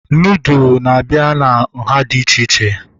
Nudụ na-abịa na nhá dị iche iche